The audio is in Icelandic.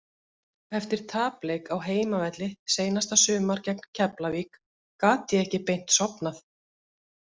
Eftir tapleik á heimavelli seinasta sumar gegn Keflavík gat ég ekki beint sofnað.